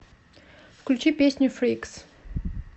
включи песню фрикс